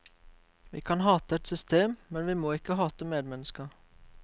Vi kan hate et system, men vi må ikke hate medmennesker.